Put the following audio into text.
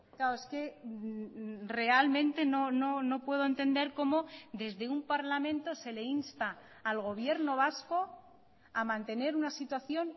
claro es que realmente no puedo entender cómo desde un parlamento se le insta al gobierno vasco a mantener una situación